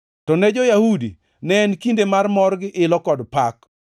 To ne jo-Yahudi, ne en kinde mar mor, gi ilo kod pak.